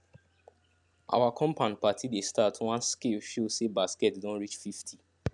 our compound party dey start once scale show say basket don reach fifty